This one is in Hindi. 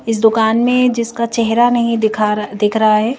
इस दुकान में जिसका चेहरा नहीं दिखा दिख रहा है।